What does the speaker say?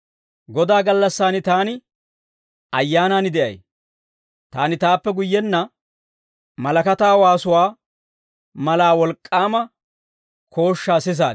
Godaa gallassan taani Ayyaanan de'ay; taani taappe guyyenna malakataa waasuwaa mala wolk'k'aama kooshshaa sisaad.